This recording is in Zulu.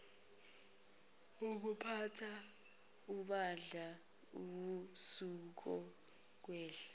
wokuphatha ibandla wawusuzokwehla